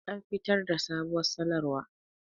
An fitar da sabuwar sanarwa